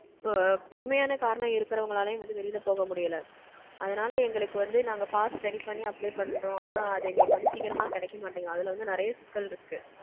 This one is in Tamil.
உண்மையான காரணம் இருக்கறவங்களாலயும் வந்து வெளில போக முடியல. அதனால எங்களுக்கு வந்து நாங்க pass ready பண்ணி apply பண்றோம். ஆனா அது வந்து எங்களுக்கு வந்து சீக்கிரமா கெடைக்க மாட்டேங்குது. அதுல வந்து நெறைய சிக்கல் இருக்கு.